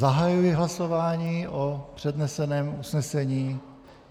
Zahajuji hlasování o předneseném usnesení.